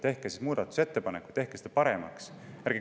Tehke muudatusettepanekuid, tehke seda paremaks!